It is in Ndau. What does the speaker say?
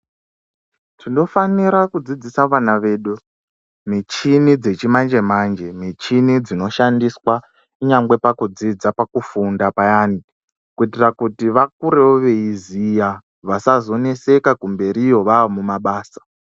Tinofanira kudzidzisa vana vedu michini dzechimanje manje michini dzinoshandiswa nyangwe pakudzidza pakufunda payani kuitira kuti vakurewo veiziya vasazoneseka kumberiyo vamumabasa